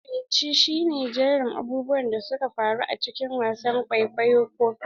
Makirci shi ne jerin abubuwan da suka faru a cikin wasan kwaikwayo ko fim.